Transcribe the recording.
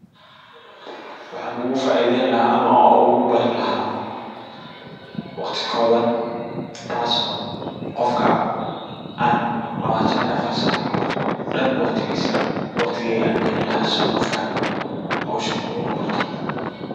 Waxaan ugu faaidayn laha ama aan ogu bari laha waqti kooban taaso qofka aan labatan iyo afar sac dan waqtigiisa waqtigayga aan galin laha sidu u fahmo hawshan u na barto.